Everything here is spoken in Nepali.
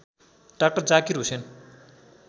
डाक्टर जाकिर हुसेन